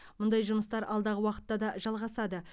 мұндай жұмыстар алдағы уақытта да жалғасады